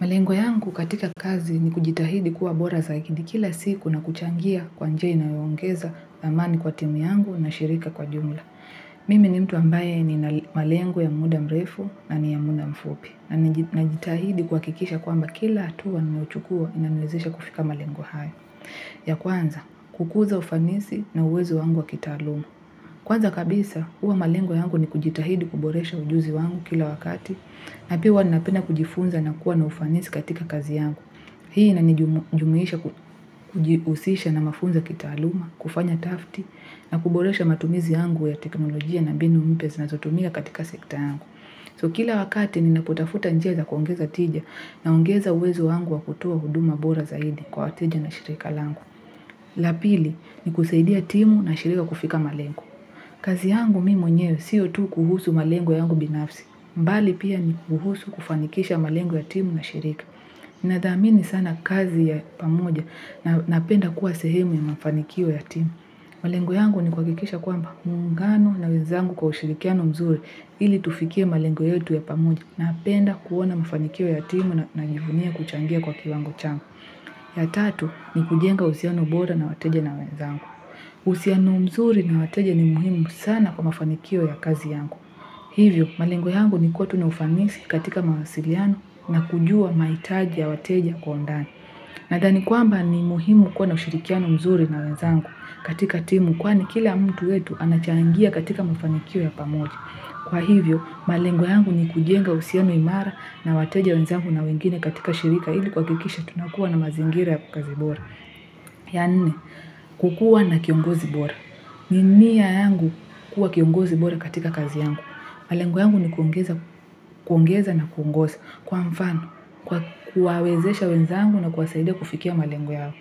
Malengo yangu katika kazi ni kujitahidi kuwa bora zaikidi kila siku na kuchangia kwa njia inayongeza amani kwa timu yangu na shirika kwa jumla. Mimi ni mtu ambaye ni malengo ya muda mrefu na ni ya muda mfupi. Najitahidi kuhakikisha kwamba kila hatua ninochukua inaniwezesha kufika malengo hayo. Ya kwanza, kukuza ufanisi na uwezo wangu wa kitaaluma. Kwanza kabisa, huwa malengo yangu ni kujitahidi kuboresha ujuzi wangu kila wakati. Na pia huwa ninapenda kujifunza na kuwa na ufanisi katika kazi yangu. Hii inanijumuisha kujihusisha na mafunzo kitaaluma, kufanya utafiti, na kuboresha matumizi yangu ya teknolojia na mbinu mpya zinazotumia katika sekta yangu. So kila wakati ninapotafuta njia za kuongeza tija naongeza uwezo wangu wa kutoa huduma bora zaidi kwa wateja na shirika langu. La pili ni kusaidia timu na shirika kufika malengo. Kazi yangu mimi mwenyewe sio tu kuhusu malengo yangu binafsi. Bali pia ni kuhusu kufanikisha malengo ya timu na shirika. Nathamini sana kazi ya pamoja na napenda kuwa sehemu ya mafanikio ya timu. Malengo yangu ni kuhakikisha kwamba muungano na wenzangu kwa ushirikiano mzuri ili tufikie malengo yetu ya pamoja napenda kuona mafanikio ya timu na naijivunia kuchangia kwa kiwango changu. Ya tatu ni kujenga uhusiano bora na wateja na wenzangu. Uhusiano mzuri na wateja ni muhimu sana kwa mafanikio ya kazi yangu. Hivyo, malengo yangu ni kuwa tu na ufanisi katika mawasiliano na kujua mahitaji ya wateja kwa undani. Nadhani kwamba ni muhimu kuwa na ushirikiano mzuri na wenzangu katika timu kwani kila mtu wetu anachangia katika mafanikio ya pamoja. Kwa hivyo, malengo yangu ni kujenga uhusiano imara na wateja wenzangu na wengine katika shirika ili kuhakikisha tunakuwa na mazingira ya kazi bora. Ya nne, kukuwa na kiongozi bora. Ni nia yangu kuwa kiongozi bora katika kazi yangu. Malengo yangu ni kuongeza na kuongoza kwa mfano kwa kuwawezesha wenzangu na kuwasaidia kufikia malengo yao.